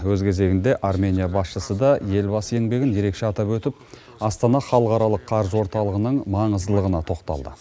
өз кезегінде армения басшысы да елбасы еңбегін ерекше атап өтіп астана халықаралық қаржы орталығының маңыздылығына тоқталды